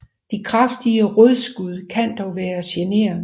De kraftige rodskud kan dog være generende